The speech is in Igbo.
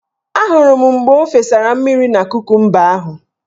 Ahụrụ m mgbe o fesara mmiri na kokumba ahụ.